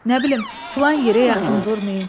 Nə bilim filan yerə yaxın durmayın.